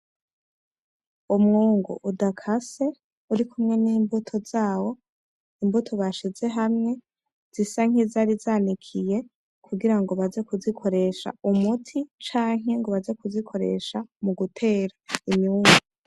Umwungu udakase uri kumwe nimbuto zawo imbuto bashize hamwe zisa nkizari zanikiye kugirango baze kuzikoresha umuti canke ngo baze kuzikoresha mugutera imyungu